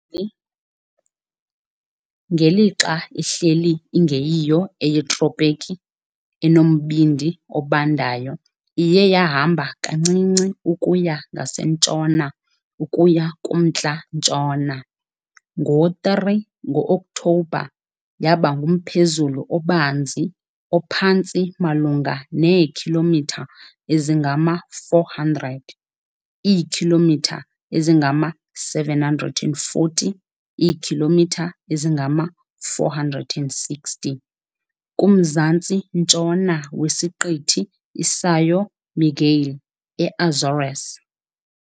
Ngelixa ihleli ingeyiyo eyetropiki enombindi obandayo iye yahamba kancinci ukuya ngasentshona ukuya kumntla-ntshona. Ngo-3 ngo-Oktobha, yaba ngumphezulu obanzi ophantsi malunga neekhilomitha ezingama-400, iikhilomitha ezingama-740, iikhilomitha ezingama-460, kumzantsi-ntshona weSiqithi iSão Miguel eAzores.